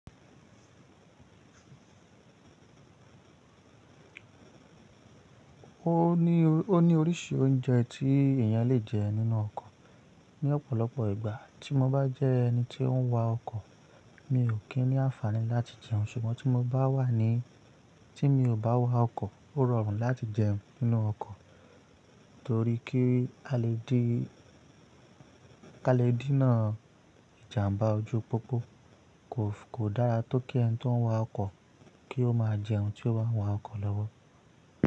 Ó ní, ó ní oríṣi oúnjẹ tí èèyàn lè jẹ nínú ọkọ̀. Ni ọ̀pọ̀lọpọ̀ ìgbà tí mo bá jẹ́ ẹni tí ó ń wa ọkọ̀, mi ò kí ní àǹfàní láti jẹun. Ṣùgbọ́n tí mo bá wà ní, tí mi ò bá wa ọkọ̀, ó rọrùn láti jẹun nínú ọkọ̀. Torí kí a lè díná ìjàmbá ojú pópó kò dára tó kí ẹni tí ó ń wa ọkọ̀ kí ó máa jẹun tí ó wá ń wa ọkọ̀ lọ́wọ́.